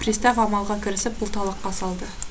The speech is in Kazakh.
пристав амалға кірісіп бұлталаққа салды